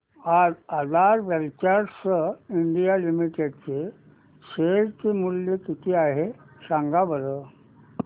आज Aadhaar Ventures India Limited चे share चे मूल्य किती आहे सांगा बरं